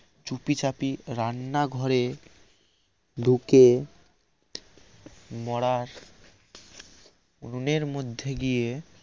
চুপিচাপি রান্না ঘরে ঢুকে মরার উনুনের মধ্যে গিয়ে